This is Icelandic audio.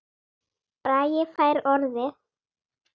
Bragi fær orðið